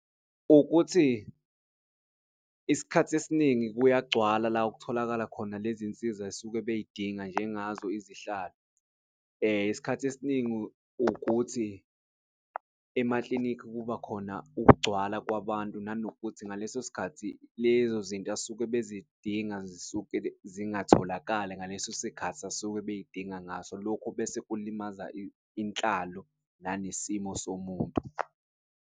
Ukuthi isikhathi esiningi kuyagcwala la okutholakala khona lezi nsiza esuke bey'dinga njengazo izihlalo. Isikhathi esiningi ukuthi emaklinikhi kuba khona ukugcwala kwabantu nanokuthi ngaleso sikhathi lezo zinto asuke bezidinga zisuke zingatholakali ngaleso sikhathi abasuke bey'dinga ngaso. Lokhu bese kulimaza inhlalo nanesimo somuntu.